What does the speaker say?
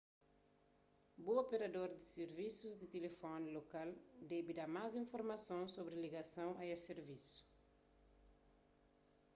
bu operador di sirvisus di tilifóni lokal debe da más informason sobri ligason a es sirvisu